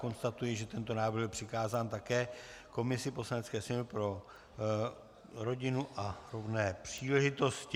Konstatuji, že tento návrh byl přikázán také komisi Poslanecké sněmovny pro rodinu a rovné příležitosti.